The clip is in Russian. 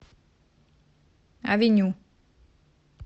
авеню